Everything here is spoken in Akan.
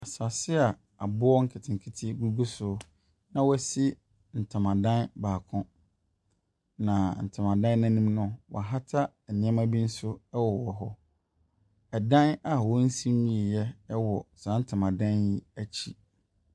Asase a aboɔ nketenkete gugu soɔ, na wɔasi ntomadan baako. Na ntoma dan no anim no, wɔahata nneɛma bi nso wowɔ hɔ. Ɛdan a wɔnsi nwieeɛ wɔ saa ntomadan yi akyi.